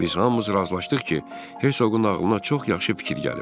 Biz hamımız razılaşdıq ki, Herzoqun ağlına çox yaxşı fikir gəlib.